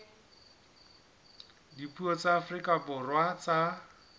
dipuo tsa afrika borwa tsa